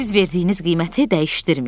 Siz verdiyiniz qiyməti dəyişdirməyin.